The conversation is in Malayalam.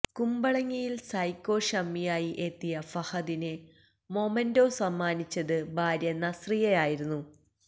കുമ്പളങ്ങിയില് സൈക്കോ ഷമ്മിയായി എത്തിയ ഫഹദിന് മൊമന്റോ സമ്മാനിച്ചത് ഭാര്യ നസ്രിയയായിരുന്നു